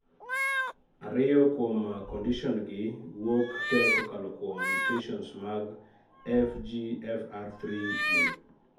ariyo kuom condition gi wuok tee kokalo kuom mutations mag FGFR3 gene